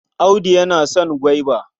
Audu yana son gwaiba.